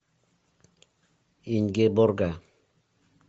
ингеборга